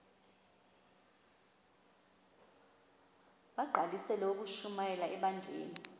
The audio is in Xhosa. bagqalisele ukushumayela ebandleni